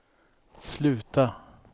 sluta